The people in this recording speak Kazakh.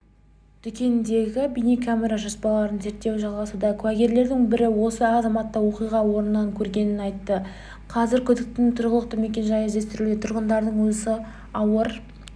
дүкендегі бейнекамера жазбаларын зерттеу жалғасуда куәгерлердің бірі осы азаматты оқиға орнынан көргенін айтты қазір күдіктінің тұрғылықты мекенжайы іздестірілуде тұрғындардан осы ауыр